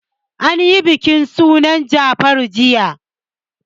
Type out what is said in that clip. An yi bikin sunan Jafaru jiya.